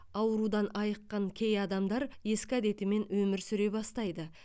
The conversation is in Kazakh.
аурудан айыққан кей адамдар ескі әдетімен өмір сүре бастайды